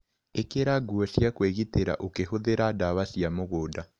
ĩkĩra nguo cia kwĩgitĩra ũkĩhũthĩra ndawa cia mũgunda.